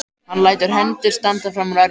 Hann lætur hendur standa fram úr ermum.